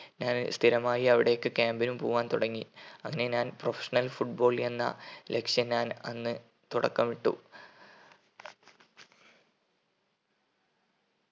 ഞാൻ സ്ഥിരമായി അവിടേക്ക് camp നും പോവാൻ തുടങ്ങി അങ്ങനെ ഞാൻ professional foot ball എന്ന ലക്‌ഷ്യം ഞാൻ അന്ന് തുടക്കമിട്ടു.